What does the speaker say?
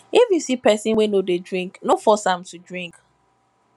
if you see pesin wey no dey drink no force am to drink